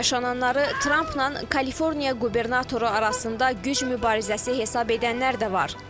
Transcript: Yaşananları Trampla Kaliforniya qubernatoru arasında güc mübarizəsi hesab edənlər də var.